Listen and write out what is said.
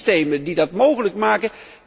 Er zijn systemen die dat mogelijk maken.